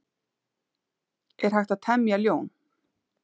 Er hægt að temja ljón?